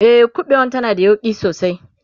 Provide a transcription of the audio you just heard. e ƙuɓewan tana da yauƙi sosai